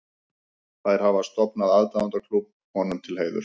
Þær hafa stofnað aðdáendaklúbb honum til heiðurs.